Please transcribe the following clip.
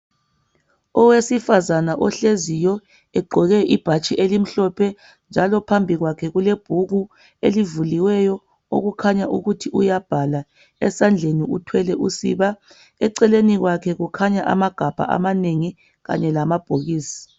Owesifazane ohleziyo, ogqoke ibhatshi elimhlophe njalo phambi kwakhe kulebhuku elivuliweyo okukhanya ukuthi uyabhala. Esandleni uthwele usiba. Eceleni kwakhe kukhanya amagabha amanengi kanye lamabhokisi.